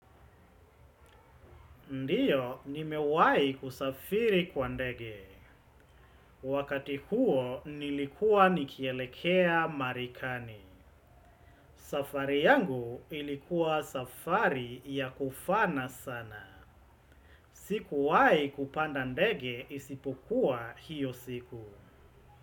Ndio, nimewahi kusafiri kwa ndege. Wakati huo, nilikua nikielekea Marekani. Safari yangu ilikuwa safari ya kufana sana. Sikuwahi kupanda ndege isipukua hiyo siku.